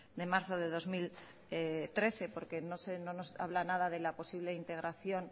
de marzo de dos mil trece porque no nos habla nada de la posible integración